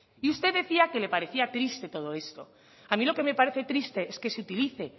y usted decía que le parecía triste todo esto a mí lo que me parece triste es que se utilice